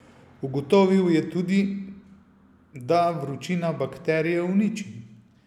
Ugotovil je tudi, da vročina bakterije uniči.